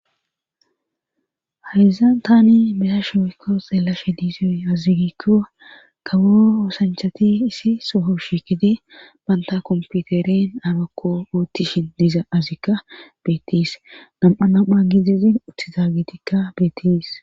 hayza tani mesa shoykko xeelashe diizoy azigikkoa kawo osanchati isi sooho shikide banta komputeren abakko oottishin diiza azikka beetis nam7a nam7a gidizin utizaagitikka beetis